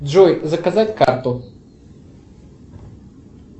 джой заказать карту